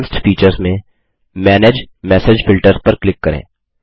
advanced features में manage message filters पर click करें